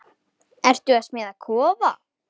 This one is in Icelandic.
Ertu að smíða kofa?